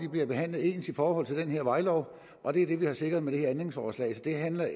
bliver behandlet ens i forhold til den her vejlov og det er det vi har sikret med det her ændringsforslag så det handler